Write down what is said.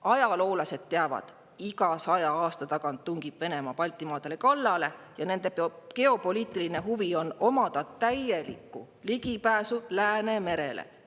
Ajaloolased teavad, et iga saja aasta tagant tungib Venemaa Baltimaadele kallale ja tema geopoliitiline huvi on omada täielikku ligipääsu Läänemerele.